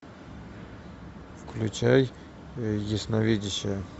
включай ясновидящая